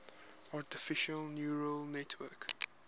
artificial neural network